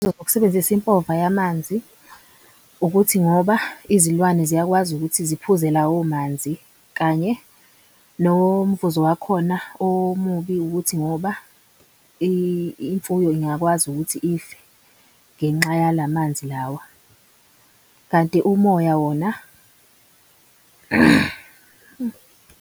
Ukusebenzisa impova yamanzi ukuthi ngoba izilwane ziyakwazi ukuthi ziphuze lawo manzi kanye nomvuzo wakhona omubi ukuthi ngoba imfuyo ingakwazi ukuthi idle ngenxa yala manzi lawa. Kanti umoya wona .